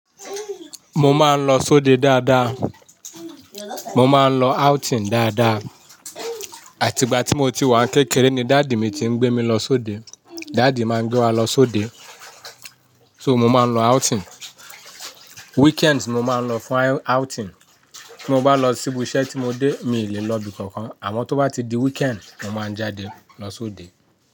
Mo máa ń lọ sóde dáadáa. Mo máa ń lọ outing dáadáa. Àti ìgbà tí mo ti wà ní kékeré ni daddy mi ti ń gbé mi lọ sóde. Daddy máa ń gbé wa lọ sóde. So mo máa ń lọ outing. Weekend mo máa ń lọ fún outing. Bí mo bá lọ sí ibi iṣẹ́ tí mo dé, mi ò lè lọ ibi kankan. Àmọ́ tó bá ti di weekend, mo máa jáde lọ sóde.